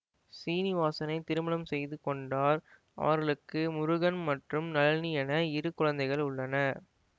சீனிவாசனை திருமணம் செய்து கொண்டார் அவர்களுக்கு முருகன் மற்றும் நளினி என இரு குழந்தைகள் உள்ளனர்